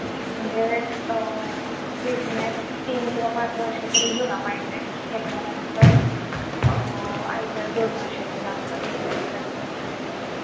म्हणजे अं business तीन किंवा पाच वर्ष तरी जूना पाहिजे त्याच्यानंतर अं ITR दोन वर्षाचे लागतात income साठी check करतात.